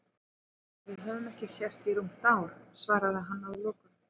En við höfum ekki sést í rúmt ár, svaraði hann að lokum.